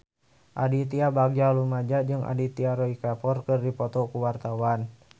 Aditya Bagja Mulyana jeung Aditya Roy Kapoor keur dipoto ku wartawan